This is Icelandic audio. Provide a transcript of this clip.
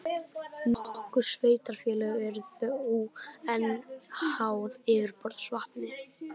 Nokkur sveitarfélög eru þó enn háð yfirborðsvatni.